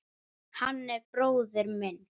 Hann er bróðir minn.